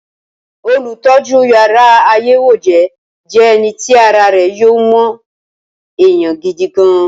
olùtọ́jú yàrá àyẹ̀wòjẹ́ je eni ti ara re yo mo eyan gidi gan-an.